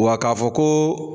Wa k'a fɔ kooo.